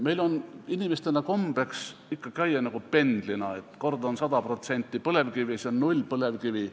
Meil on inimestena kombeks ikka käituda nagu pendlina, et kord on 100% põlevkivi, siis on 0% põlevkivi.